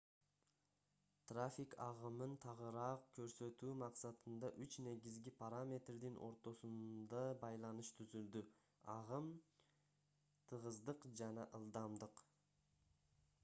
трафик агымын тагыраак көрсөтүү максатында үч негизги параметрдин ортосунда байланыш түзүлдү: 1 агым 2 тыгыздык жана 3 ылдамдык